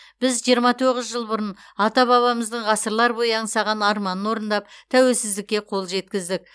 біз жиырма тоғыз жыл бұрын ата бабамыздың ғасырлар бойы аңсаған арманын орындап тәуелсіздікке қол жеткіздік